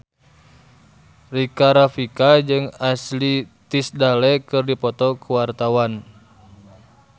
Rika Rafika jeung Ashley Tisdale keur dipoto ku wartawan